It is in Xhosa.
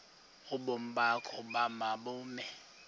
ubomi bakho mabube